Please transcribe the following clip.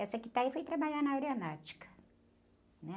Essa que tá aí foi trabalhar na área náutica, né?